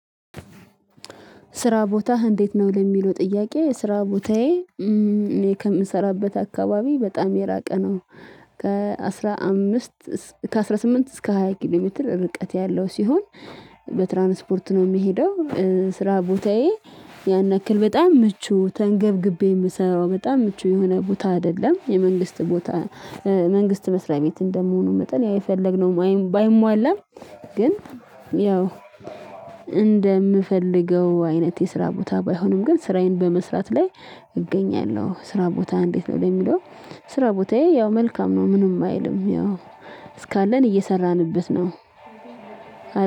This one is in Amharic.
ስራ ቦታህ እንዴት ነው? ለሚለው ጥያቄ ስራ ቦታዬ እኔ ከምሰራበት አካባቢ በጣም የራቀ ነው። ከ አስራ ከአስራ ስምንት እስከ ሃያ ኪሎ ሜትር ርቀት ያለው ሲሆን በትራንስፖርት ነው የምሄደው ስራ ቦታዬ ያን ያክል በጣም ምቹ ተንገብግቤ የምሰራው በጣም ምቹ የሆነ ቦታ አይደለም የመንግስት ቦታ መንግስት መስሪያ ቤት እንደምሆኑ መጠን ያው የፈለግነው ባይ ባይሟላም ግን ያው እንደምፈልገው አይነት የስራ ቦታ ባይሆንም ግን ስራዬን በመስራት ላይ እገኛለሁ ስራ ቦታ እንዴት ነው ለሚለው ስራ ቦታዬ ያው መልካም ነው ምንም አይልም ያው እስካለን እየሰራንበት ነው።